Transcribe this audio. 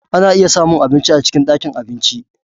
Ana iya samun abinci a cikin ɗakin abinci.